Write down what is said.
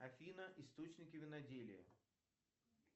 афина источники виноделия